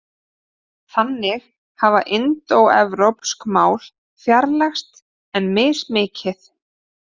Þannig hafa indóevrópsk mál fjarlægst en mismikið.